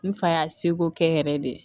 N fa y'a seko kɛ n yɛrɛ de ye